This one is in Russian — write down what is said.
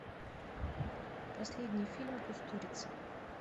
последний фильм кустурицы